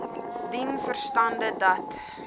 dien verstande dat